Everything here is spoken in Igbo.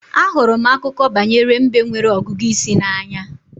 Ahụrụ m Akụkọ banyere mbe nwere ọgụgụ isi n'anya